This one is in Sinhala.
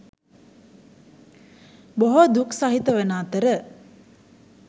බොහෝ දුක් සහිත වන අතර